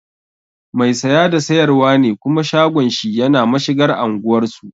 Mai saya da sayarwa ne kuma shagon shi yana mashigar anguwar su